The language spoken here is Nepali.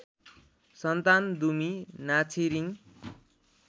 सन्तान दुमी नाछिरिङ